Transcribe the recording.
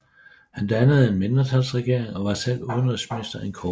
Han dannede en mindretalsregering og var selv udenrigsminister en kort periode